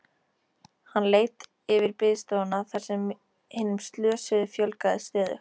Hann leit yfir biðstofuna þar sem hinum slösuðu fjölgaði stöðugt.